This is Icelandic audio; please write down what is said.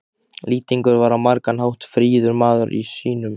Lýtingur var á margan hátt fríður maður sýnum.